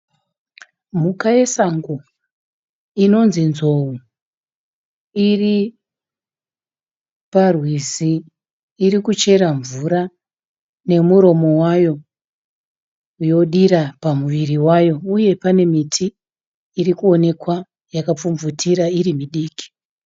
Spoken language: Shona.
Mhuka yesango. Inonzi nzou. Iri parwizi. Iri kuchera mvura nemuromo wayo yodira pamuviri wayo uye pane miti irikuonekwa yakapfumvutira iri midiki.